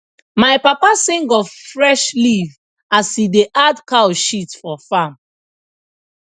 my papa sing of fresh leaf as he da add cow shit for farm